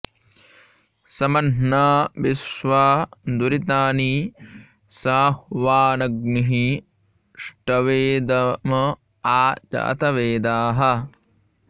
स म॒ह्ना विश्वा॑ दुरि॒तानि॑ सा॒ह्वान॒ग्निः ष्ट॑वे॒ दम॒ आ जा॒तवे॑दाः